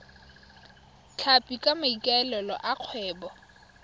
tlhapi ka maikaelelo a kgwebo